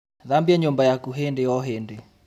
Thambia nyũmba yaku hĩndĩ o hĩndĩ